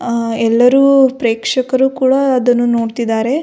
ಆ ಎಲ್ಲರು ಪ್ರೇಕ್ಷಕರು ಕೂಡ ಅದನ್ನು ನೋಡ್ತಿದ್ದಾರೆ.